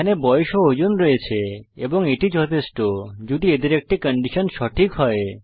এখানে বয়স ও ওজন রয়েছে এবং এটি যথেষ্ট যদি এদের একটি কন্ডিশন সঠিক হয়